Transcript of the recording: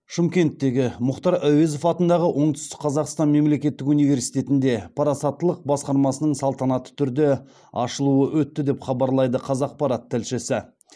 шымкенттегі мұхтар әуезов атындағы оңтүстік қазақстан мемлекеттік университетінде парасаттылық басқармасының салтанатты түрде ашылуы өтті деп хабарлайды қазақпарат тілшісі